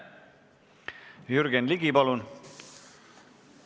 Jürgen Ligi, palun!